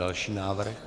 Další návrh.